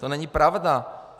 To není pravda!